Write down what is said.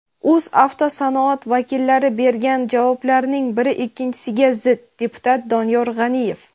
"O‘zavtosanoat" vakillari bergan javoblarning biri ikkinchisiga zid" – deputat Doniyor G‘aniyev.